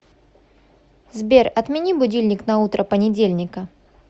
сбер отмени будильник на утро понедельника